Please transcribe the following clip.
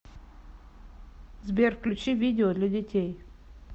сбер включи видео для детей